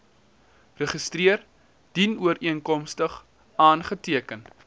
register dienooreenkomstig aangeteken